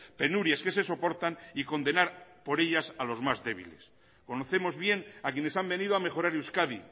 penurias que se soportan y condenar por ellas a los más débiles conocemos bien a quienes han venido a mejorar euskadi